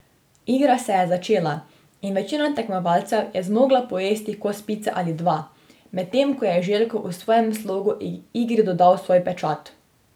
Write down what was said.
Igra se je začela in večina tekmovalcev je zmogla pojesti kos pice ali dva, medtem ko je Željko v svojem slogu igri dodal svoj pečat.